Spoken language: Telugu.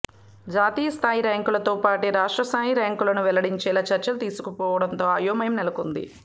జాతీయస్థాయి ర్యాంకులతో పాటే రాష్ట్ర ర్యాంకులను వెల్లడించేలా చర్యలు తీసుకోకపోవడంతో అయోమయం నెలకొంది